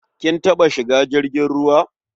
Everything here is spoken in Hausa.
Kin taɓa shiga jirgin ruwa?